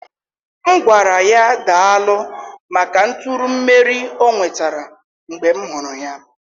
M ga-agwara ya daalụ maka nturu imeri ọ nwetara mgbe m hụrụ ya.